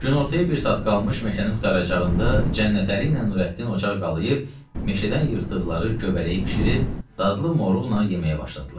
Günortaya bir saat qalmış meşənin qurtaracağında Cənnətəli ilə Nurəddin ocaq qalıyıb, meşədən yığdıqları göbələyi bişirib, dadlı moruqla yeməyə başladılar.